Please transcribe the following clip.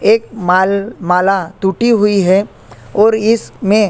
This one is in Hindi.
एक माल माला टूटी हुई हैं और इसमे--